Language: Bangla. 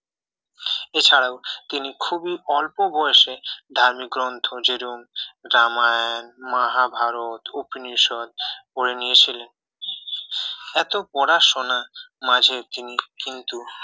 এছাড়াও তিনি খুব অল্প বয়সে ধার্মিক গ্রন্থ যেরকম রামায়ণ মহাভারত উপনিষদ পড়ে নিয়েছিলেন এত পড়াশোনার মাঝে তিনি কিন্তু